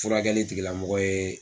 Furakɛli tigilamɔgɔ ye.